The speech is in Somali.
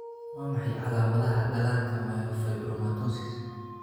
Waa maxay calaamadaha iyo calamadaha dhallaanka myofibromatosis?